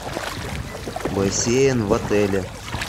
бассейн в отеле